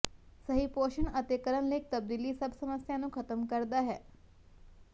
ਸਹੀ ਪੋਸ਼ਣ ਅਤੇ ਕਰਨ ਲਈ ਇੱਕ ਤਬਦੀਲੀ ਸਭ ਸਮੱਸਿਆ ਨੂੰ ਖਤਮ ਕਰਦਾ ਹੈ